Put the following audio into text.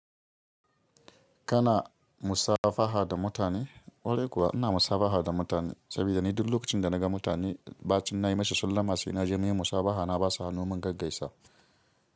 Kana musafaha da mutane? Kwarai kuwa ina musafaha da mutane saboda ni duk lokacin da naga mutane, ba cin na'i mashi, sallah masu ina jami'in musafaha na ba su hannun mun gaggai sau.